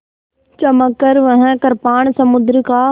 चमककर वह कृपाण समुद्र का